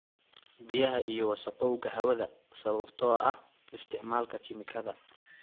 Biyaha iyo wasakhowga hawada sababtoo ah isticmaalka kiimikada.